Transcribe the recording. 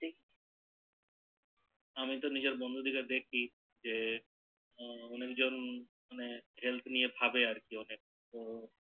আমি তো নিজের বন্ধু দেরকে দেখি যে অনেক জন মানে health নিয়ে ভাবে আরকি অনেক তো